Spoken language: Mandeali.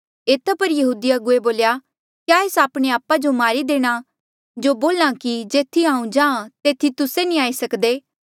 एता पर यहूदी अगुवे बोल्या क्या ऐस आपणे आपा जो मारी देणा जो बोल्हा कि जेथी हांऊँ जाहाँ तेथी तुस्से नी आई सक्दे